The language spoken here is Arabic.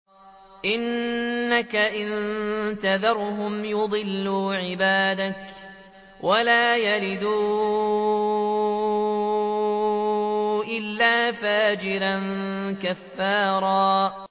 إِنَّكَ إِن تَذَرْهُمْ يُضِلُّوا عِبَادَكَ وَلَا يَلِدُوا إِلَّا فَاجِرًا كَفَّارًا